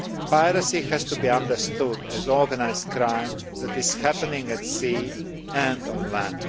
Piracy has to be understood as organised crime that is happening at sea and on land.